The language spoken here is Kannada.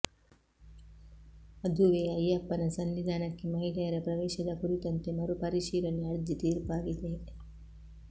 ಅದುವೇ ಅಯ್ಯಪ್ಪನ ಸನ್ನಿಧಾನಕ್ಕೆ ಮಹಿಳೆಯರ ಪ್ರವೇಶದ ಕುರಿತಂತೆ ಮರುಪರಿಶೀಲನೆ ಅರ್ಜಿ ತೀರ್ಪಾಗಿದೆ